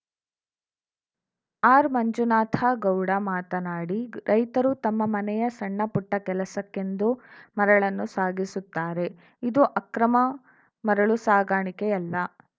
R Manjunatha Gowda ಮಾತನಾಡಿ ರೈತರು ತಮ್ಮ ಮನೆಯ ಸಣ್ಣ ಪುಟ್ಟಕೆಲಸಕ್ಕೆಂದು ಮರಳನ್ನು ಸಾಗಿಸುತ್ತಾರೆ ಇದು ಅಕ್ರಮ ಮರಳು ಸಾಗಾಣಿಕೆಯಲ್ಲ